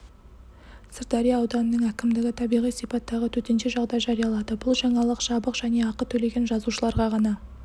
сырдария ауданының әкімдігі табиғи сипаттағы төтенше жағдай жариялады бұл жаңалық жабық және ақы төлеген жазылушыларға ғана